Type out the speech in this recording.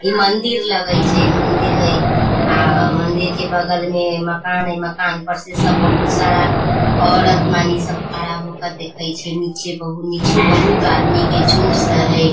इ मंदिर लगई छे इ मंदिर हई आ मंदिर बगल में मकान हई मकान पर से सब बहुत सारा औरत मनी सब खड़ा होके देखइ छे नीचे बहु नीचे बहुत आदमी के झुण्ड स हई।